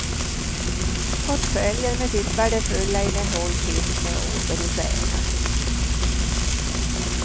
Portföljen med sitt värdefulla innehåll finns nu åter hos ägaren.